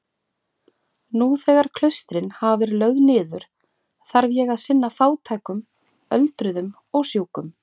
Nú þegar klaustrin hafa verið lögð niður þarf ég að sinna fátækum öldruðum og sjúkum.